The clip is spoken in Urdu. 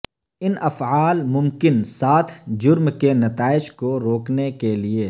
ان افعال ممکن ساتھ جرم کے نتائج کو روکنے کے لئے